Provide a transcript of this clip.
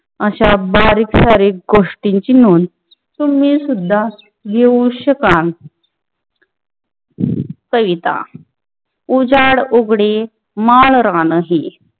अशा बारिक सारिक गोष्टींची नोंद तुम्ही सुद्धा मिळवू शकाल कविता उजाड उघ़डे माळरानी